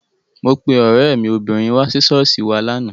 Mo pe ọ̀rẹ́ mi obìnrin wá sí ṣọ́ọ̀ṣì wa lánàá.